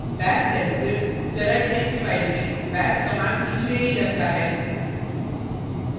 bash shell script सरल text file में bash commands की श्रेणी रखता है